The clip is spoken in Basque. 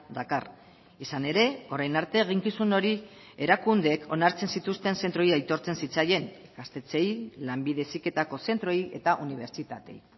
dakar izan ere orain arte eginkizun hori erakundeek onartzen zituzten zentroei aitortzen zitzaien gaztetxeei lanbide heziketako zentroei eta unibertsitateei